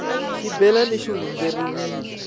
xibelana xi hundzeriwile